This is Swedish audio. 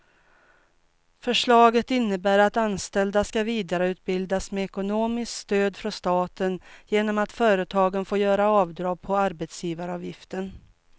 Förslaget innebär att anställda ska vidareutbildas med ekonomiskt stöd från staten genom att företagen får göra avdrag på arbetsgivaravgiften.